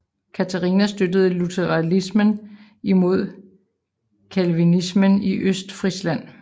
Katarina støttede lutheranismen imod Calvinismen i Østfrisland